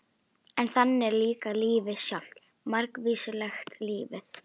En þannig er líka lífið sjálft- margvíslegt lífið.